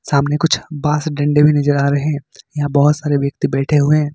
सामने कुछ बांस डंडे भी नजर आ रहे हैं यहां बहुत सारे व्यक्ति बैठे हुए हैं।